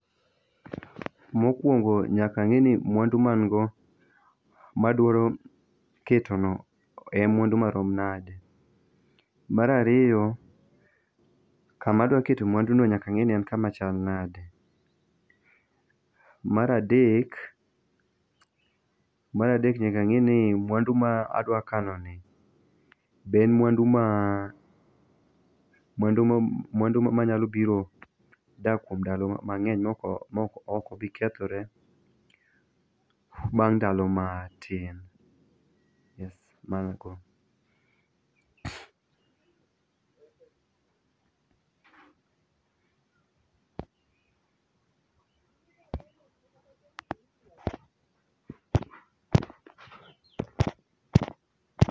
mokuongo nyaka ang'e ni mwandu ma en go madwaro ketono en mwandu marom nade, mar ariyo nyaka ang'eni kama adwa kete mwanduno ema kama chal nade, mar adek nyaka nageni mwandu ma adwa kanoni be en mwandu be en mwandu mabiro dak kuom ndalo mang'eny ma ok bi kethore bang' ndalo matin,